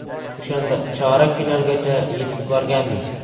O‘shanda chorak finalgacha yetib borganmiz.